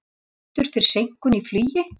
Fá bætur fyrir seinkun í flugi